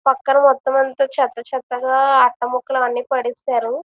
పక్కన మొత్తం అంతా చెత్త చెత్తగా అట్ట ముక్కలు అన్ని పడేస్తారు.